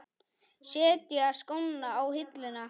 Setja skóna á hilluna?